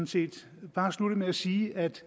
set bare slutte med at sige at